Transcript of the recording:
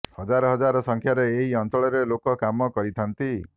ହଜାର ହଜାର ସଂଖ୍ୟାରେ ଏହି ଅଞ୍ଚଳରେ ଲୋକ କାମ କରିଥାନ୍ତି